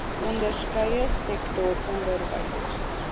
onderskeie sektor onderwys